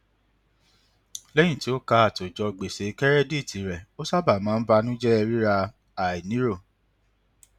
lẹyìn tí ó kà àtòjọ gbèsè kẹrẹdíìtì rẹ ó sábà máa ń banujẹ rírà àìnírò